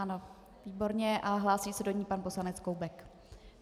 Ano, výborně, a hlásí se do ní pan poslanec Koubek.